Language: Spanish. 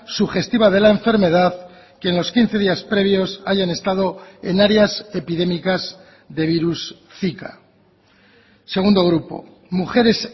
sugestiva de la enfermedad que en los quince días previos hayan estado en áreas epidémicas de virus zika segundo grupo mujeres